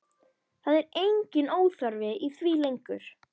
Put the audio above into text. Það er enginn óþarfi í því lengur!